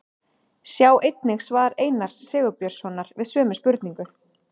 Sjá einnig svar Einars Sigurbjörnssonar við sömu spurningu.